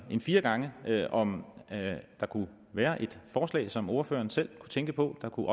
end fire gange om der kunne være et forslag som ordføreren selv tænkte på der kunne